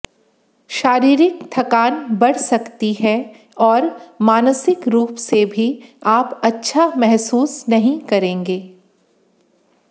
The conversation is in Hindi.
शारीरिक थकान बढ़ सकती है और मानसिक रूप से भी आप अच्छा महसूस नहीं करेंगे